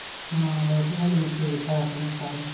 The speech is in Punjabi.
ਹਾਂ ਬੌਬੀ ਹੁਣੀ ਵੀ ਠੀਕ ਠਾਕ ਨੇ ਸਾਰੇ।